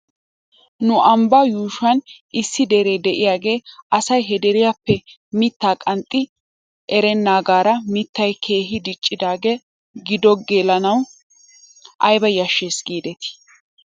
Nu ambbaa yuushuwan issi deree de'iyaagee asay he deriyaappe mittaa qanxxi erenaagaara mittay keehi diccidaagee giddo gelanaw ayba yashshes giidetii?